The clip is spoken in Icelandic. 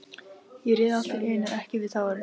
Ég réð allt í einu ekki við tárin.